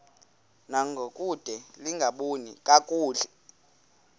ngangokude lingaboni kakuhle